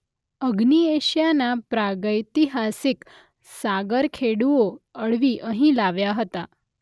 અગ્નિ એશિયાના પ્રાગૈતિહાસિક સાગરખેડૂઓ અળવી અહીં લાવ્યા હતા.